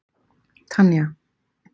Tanja